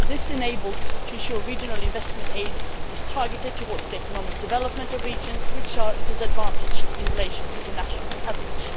This helps to ensure regional investment aid is targeted towards the economic development of regions which are disadvantaged in relation to the national average.